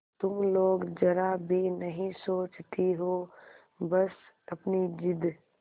तुम लोग जरा भी नहीं सोचती हो बस अपनी जिद